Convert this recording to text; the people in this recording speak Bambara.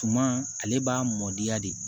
Tuma ale b'a mɔdiya de